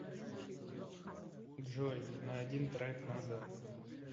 джой на один трек назад